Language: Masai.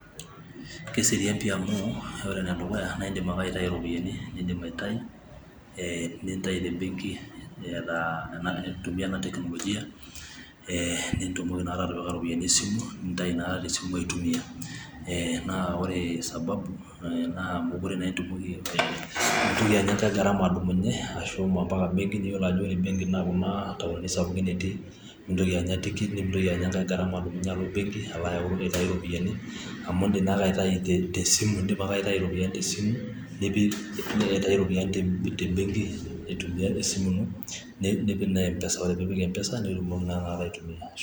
keserian pi amu, ore enedukuya naindim ake aitayu iropiyiani nindim aitayu, eeh nintayu te benki nintumia ena tecnologia nitumoki atipika iropiyiani te simu nintayu te simu aitumia. Naa ore sababu naa meekure inya ai garama adumunye ashomo embenki, naaiyiolo embenki ajo kuna taoni sapuki etii nimintoki anya tikiti nimintoki anya enkae garam alo ebenki aitayu ropiyiani amu ndim akeaitayu te simu nipik MPesa nitum aitumia.